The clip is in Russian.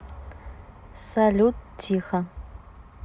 салют тихо